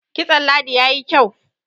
kitson ladi ya yi kyau